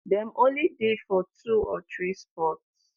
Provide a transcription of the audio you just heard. dem only dey for two or three spots.